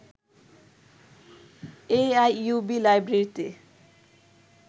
A I U B লাইব্রেরীতে